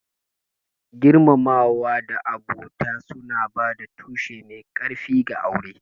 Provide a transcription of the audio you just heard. Girmamawa da abota suna ba da tushe mai ƙarfi ga aure.